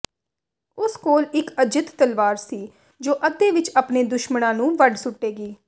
ਉਸ ਕੋਲ ਇਕ ਅਜਿੱਤ ਤਲਵਾਰ ਸੀ ਜੋ ਅੱਧੇ ਵਿਚ ਆਪਣੇ ਦੁਸ਼ਮਣਾਂ ਨੂੰ ਵੱਢ ਸੁੱਟੇਗੀ